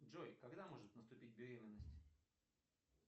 джой когда может наступить беременность